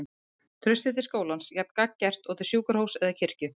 Traustið til skólans jafn gagngert og til sjúkrahúss eða kirkju.